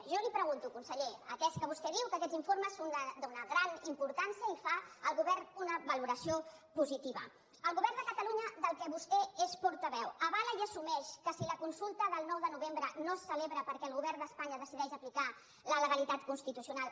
jo li pregunto conseller atès que vostè diu que aquests informes són d’una gran importància i en fa el govern una valoració positiva el govern de catalunya del qual vostè és portaveu avala i assumeix que si la consulta del nou de novembre no es celebra perquè el govern d’espanya decideix aplicar la legalitat constitucional